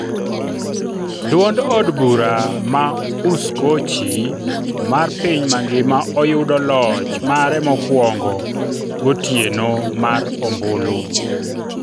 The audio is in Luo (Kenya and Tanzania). duond od bura ma Uskochi mar piny mangima oyudo loch mare mokwongo, gotieno mar ombulu